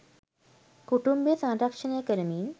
කුටුම්භ සංරක්‍ෂණය කරමින්